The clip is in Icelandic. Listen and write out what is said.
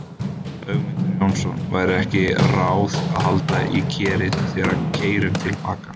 Ögmundur Jónasson: Væri ekki ráð að halda í Kerið þegar við keyrum til baka?